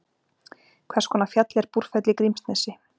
hvers konar fjall er búrfell í grímsnesi